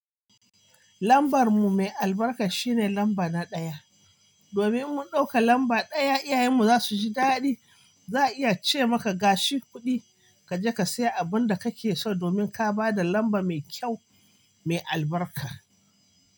Lambar mu mai albarka shine lamba na ɗaya. Domin mun ɗauka lamba ɗaya, iyayen mu za su ji daɗi. Za a iya ce maka gashi kuɗi kaje ka siya abunda kake so domin ka bada lamba mai kyau mai albarka.